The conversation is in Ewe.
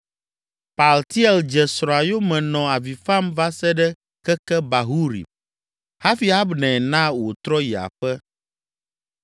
Paltiel dze srɔ̃a yome nɔ avi fam va se ɖe keke Bahurim, hafi Abner na wòtrɔ yi aƒe.